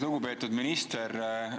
Lugupeetud minister!